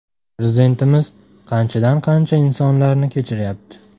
Prezidentimiz qanchadan qancha insonlarni kechiryapti.